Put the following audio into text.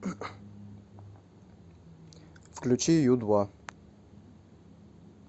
включи ю два